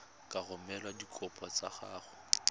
ka romela dikopo tsa gago